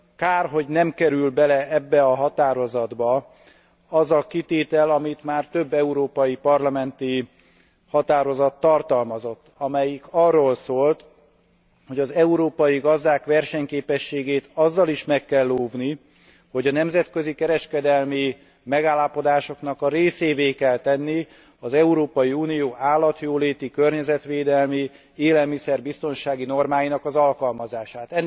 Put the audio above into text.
Kár, hogy nem kerül bele ebbe a határozatba az a kitétel, amit már több európai parlamenti határozat tartalmazott, amelyik arról szólt, hogy az európai gazdák versenyképességét azzal is meg kell óvni, hogy a nemzetközi kereskedelmi megállapodásoknak a részévé kell tenni az Európai Unió állatjóléti, környezetvédelmi, élelmiszer biztonsági normáinak az alkalmazását.